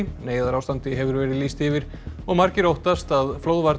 neyðarástandi hefur verið lýst yfir og margir óttast að